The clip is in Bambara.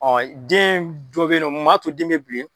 Ɔ den dɔ bɛ ye nɔ mun maa to den bɛ bilen?